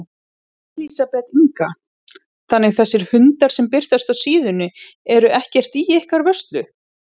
Elísabet Inga: Þannig þessir hundar sem birtast á síðunni eru ekkert í ykkar vörslu?